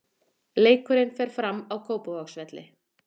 Leikurinn fer fram á Kópavogsvelli.